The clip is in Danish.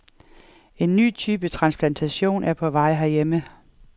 En ny type transplantation er på vej herhjemme.